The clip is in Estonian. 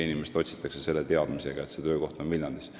Inimest otsitakse selle teadmisega, et see töökoht on Viljandis.